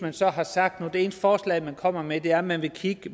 man så har sagt og det eneste forslag man kommer med er at man vil kigge